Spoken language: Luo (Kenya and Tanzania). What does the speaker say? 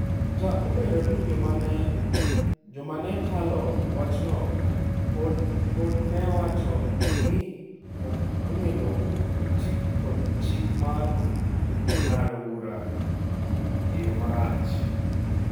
Kata obedo ni joma ne talo wachno pod ne wacho ni ok onego oti kod chik mar ng’ado bura e yo marach.